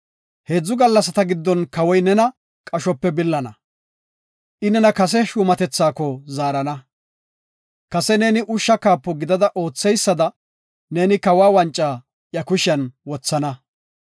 Heedzu gallasata giddon Kawoy nena qashope billana. I nena kase shuumatethaako zaarana. Kase neeni ushsha kaapo gidada ootheysada neeni kawa wanca iya kushiyan wothana.